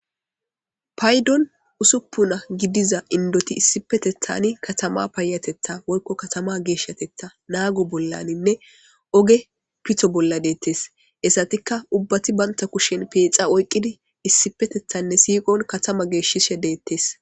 paydon usuppuna gidiza indoti issipetethani katama payatetha woykko katama geeshshatetha naago bollaninne oge pitho bolla deettes esatikka ubbati baynta kushen peexa oyqqidi issipetethanne siiqon katama geeshishe deettes